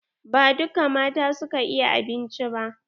Ba dukka mata su ka iya abinci ba.